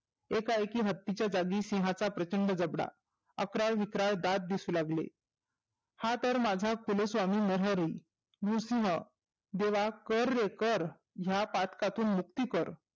एका एकी हत्तीच्या जागी सिंहाचा प्रचंड जबडा. अक्राळ विक्राळ दात दिसू लागले. हा तर माझा कुलस्वामी मोहोरील उसन देवा कर रे कर ह्या पाटकातून मुक्ती कर.